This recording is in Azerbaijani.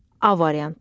A variantı.